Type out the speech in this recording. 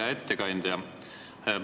Hea ettekandja!